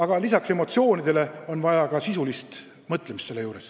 Ja lisaks emotsioonidele on neile vastamisel vaja ka sisulist mõtlemist.